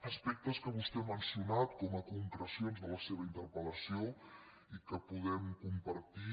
aspectes que vostè ha mencionat com a concrecions de la seva interpel·lació i que podem compartir